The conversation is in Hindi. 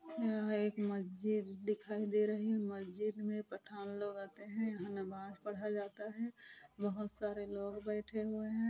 यह एक मस्जिद दिखाई दे रही है। मस्जिद मे पठान लोग आते है। यहा नमाज पढ़ा जाता है। बोहोत सारे लोग बेठे हुए है।